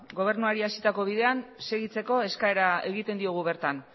gobernuari hasitako bidean segitzeko eskaera egiten diogu bertan